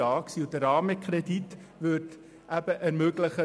Der Rahmenkredit würde die Finanzierung aber ermöglichen.